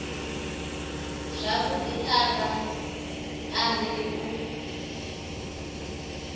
zwavhudi a vha anzeli u